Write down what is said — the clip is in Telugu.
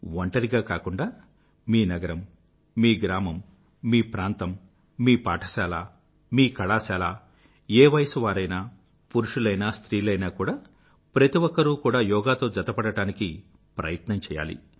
ఒంటరిగా కాకుండా మీ నగరం మీ గ్రామం మీ ప్రాంతం మీ పాఠశాల మీ కళాశాల ఏ వయసు వారైనా పురుషులైనా స్త్రీలైనా కూడా ప్రతి ఒక్కరూ కూడా యోగాతో జతపడడానికి ప్రయత్నం చెయ్యాలి